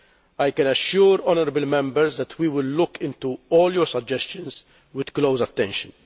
I can assure the honourable Members that we will look into all your suggestions with close attention.